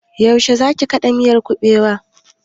Yaushe zaki kaɗa miyar kuɓewan?